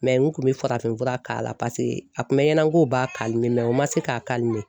n kun bɛ farafinfura k'a la a kun bɛ ɲɛna ko b'a o ma se k'a